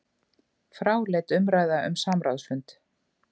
Fráleit umræða um samráðsfund